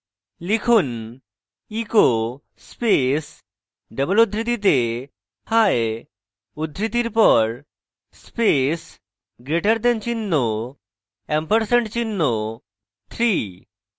লিখুন: echo space double উদ্ধৃতিতে hi উদ্ধৃতির পর space greater দেন চিহ্ন ampersand চিহ্ন 3